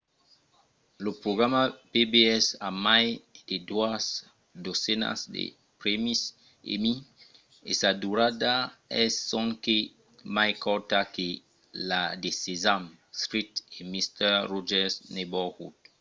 lo programa pbs a mai de doas dotzenas de prèmis emmy e sa durada es sonque mai corta que la de sesame street e mister rogers' neighborhood